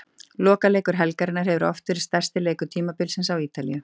Lokaleikur helgarinnar hefur oft verið stærsti leikur tímabilsins á Ítalíu.